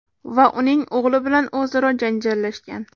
va uning o‘g‘li bilan o‘zaro janjallashgan.